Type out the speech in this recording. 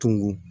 Tunun